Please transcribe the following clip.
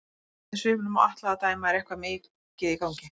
Eftir svipnum á Atla að dæma er eitthvað mikið í gangi.